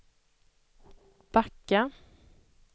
backa